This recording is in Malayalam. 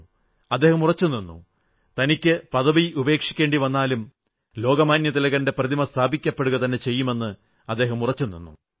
അദ്ദേഹം ഉറച്ചു നിന്നു തനിക്ക് പദവി ഉപേക്ഷിക്കേണ്ടി വന്നാലും ലോകമാന്യതിലകന്റെ പ്രതിമ സ്ഥാപിക്കപ്പെടുകതന്നെ ചെയ്യുമെന്ന് ഉറച്ചുനിന്നു